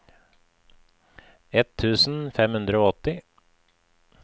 ett tusen fem hundre og åtti